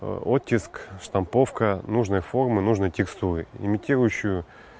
оттиск штамповка нужной формы нужной текстуры имитирующую